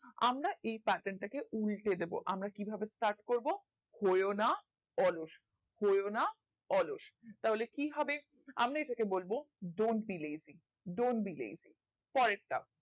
আমরা এই pattern টা কে উল্টে দিবো আমার কিভাবে start করবো হওনা অলস হওনা অলস তাহলে কি হবে আমরা এটা কে বলবো don't be lazy don't be lazy পরের টা